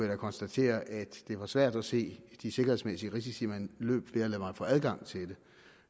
da konstatere at det var svært at se de sikkerhedsmæssige risici man løb ved at lade mig få adgang til den